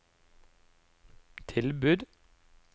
tilbud